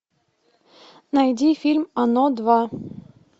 найди фильм оно два